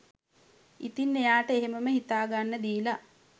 ඉතින් එයාට එහෙමම හිතා ගන්න දීලා